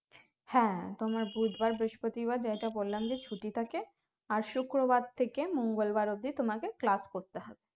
হ্যাঁ তোমার বুধ বার বৃহস্পতি বার যেটা বললাম যে ছুটি থাকে আর শুক্র বার থেকে মঙ্গল বার অবধি তোমাকে class করতে হয়